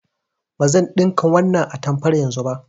Bazan ɗinka wannan atamfar yanzu ba.